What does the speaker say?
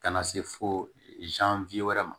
Ka na se fo wɛrɛ ma